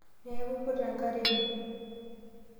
Niaku ipute enkare ino?